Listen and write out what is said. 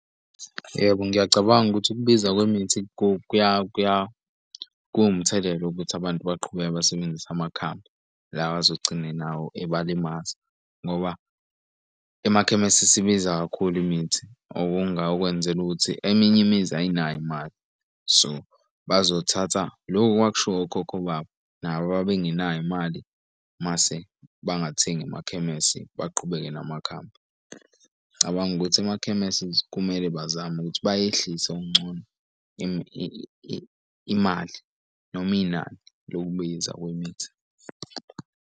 Yebo, ngiyacabanga ukuthi ukubiza kwemithi kuwumthelela ukuthi abantu baqhubeke basebenzisa amakhambi. Lawa azogcina nawo eba limaza ngoba emakhemesi isibiza kakhulu imithi okungakwenzela ukuthi eminye imizi ayinayo imali, so bazothatha loku okwakushiwo okhokho babo nabo babengenayo imali mase bangathengi emakhemesi, baqhubeke namakhambi. Ng'cabanga ukuthi emakhemesi kumele bazame ukuthi bayehlise okungcono imali noma inani lokubiza kwemithi.